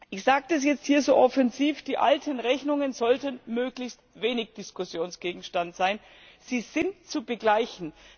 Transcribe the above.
Ich sage das jetzt hier so offensiv Die alten Rechnungen sollten möglichst wenig Diskussionsgegenstand sein. Sie sind zu begleichen.